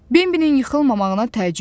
Benbinin yıxılmamağına təəccüb etdi.